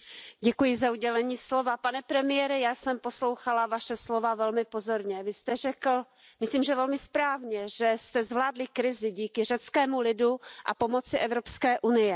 Pane předsedající, pane premiére, já jsem poslouchala Vaše slova velmi pozorně. Vy jste řekl, myslím, že velmi správně, že jste zvládli krizi díky řeckému lidu a pomoci Evropské unie.